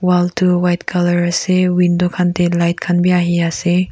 wall tu white colour ase window khan teh light khan bhi ahi ase.